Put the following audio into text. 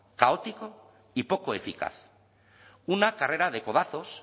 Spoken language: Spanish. caótico y poco eficaz una carrera de codazos